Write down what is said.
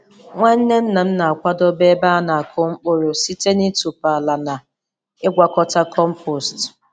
Nwanne nnam na-akwadebe ebe a na-akụ mkpụrụ site n'ịtọpụ ala na ịgwakọta compost.